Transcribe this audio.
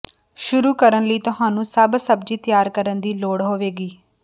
ਸ਼ੁਰੂ ਕਰਨ ਲਈ ਤੁਹਾਨੂੰ ਸਭ ਸਬਜ਼ੀ ਤਿਆਰ ਕਰਨ ਦੀ ਲੋੜ ਹੋਵੇਗੀ